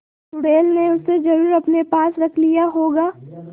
चुड़ैल ने उसे जरुर अपने पास रख लिया होगा